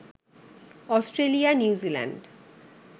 Australia, New Zealand